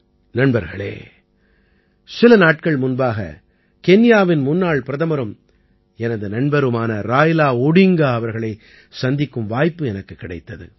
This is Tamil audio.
நண்பர்களே சில நாட்கள் முன்பாக கென்யாவின் முன்னாள் பிரதமரும் எனது நண்பருமான ராய்லா ஓடிங்கா அவர்களைச் சந்திக்கும் வாய்ப்பு எனக்குக் கிடைத்தது